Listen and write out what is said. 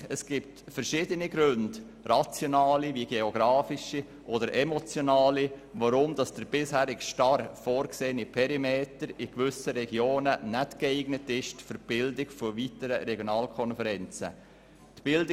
Es gibt verschiedene Gründe, rationale wie geografische oder auch emotionale, weshalb der bisher vorgesehene Perimeter für die Bildung weiterer Regionalkonferenzen in gewissen Regionen nicht geeignet ist.